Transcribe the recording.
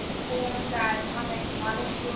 form diatomic molecules